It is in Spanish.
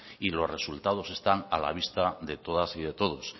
y los resultados están a la vista de todas y de todos